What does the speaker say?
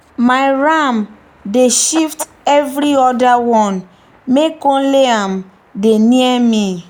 my ram dey shift every other one make only am dey near me.